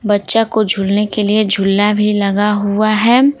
बच्चा को झूलने के लिए झूल्ला भी लगा हुआ है।